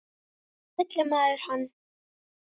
En hvernig fyllir maður hann?